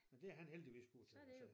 Men det han heldigvis god til så